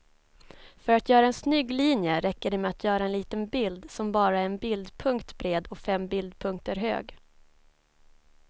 För att göra en snygg linje räcker det med att göra en liten bild som bara är en bildpunkt bred och fem bildpunkter hög.